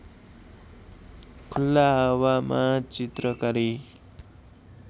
खुल्ला हावामा चित्रकारी